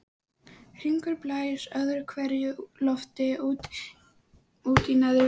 Hringur blæs öðru hverju lofti út í neðri vörina.